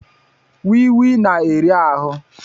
wịị wịị na-eri ahụ